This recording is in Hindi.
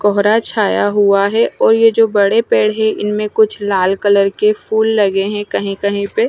कोहरा छाया हुआ है और ये जो बड़े पेड़ है इनमें कुछ लाल कलर के फूल लगे हैं कहीं कहीं पे।